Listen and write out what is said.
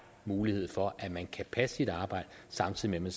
mulighed for at man kan passe sit arbejde samtidig med